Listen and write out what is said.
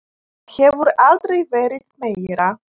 Það hefur aldrei verið meira.